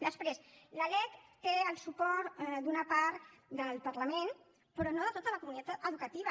després la lec té el suport d’una part del parlament però no de tota la comunitat educativa